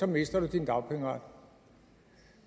mister du din dagpengeret